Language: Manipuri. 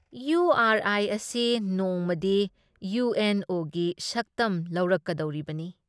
ꯏꯌꯨ ꯑꯥꯔ ꯑꯥꯏ ꯑꯁꯤ ꯅꯣꯡꯃꯗꯤ ꯏꯌꯨ ꯑꯦꯟ ꯑꯣ ꯒꯤ ꯁꯛꯇꯝ ꯂꯧꯔꯛꯀꯗꯧꯔꯤꯕꯅꯤ ꯫